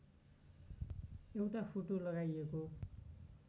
एउटा फोटो लगाइएको